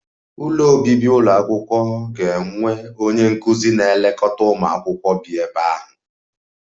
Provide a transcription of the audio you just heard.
Ụlọ obibi ụlọ akwụkwọ ga-enwe onye nkụzi na-elekọta ụmụ akwụkwọ bi ebe ahụ